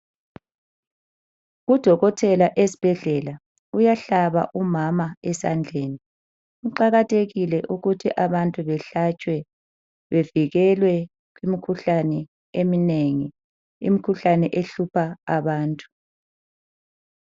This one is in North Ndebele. Udokotela esibhedlela uyahlaba umama esandleni. Kuqakathekile ukuthi abantu behlatshwe bevikelwe imikhuhlane eminengi, imikhuhlane ehlupha abantu.